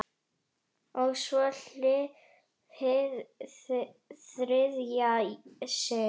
Og svo- hið þriðja sinn.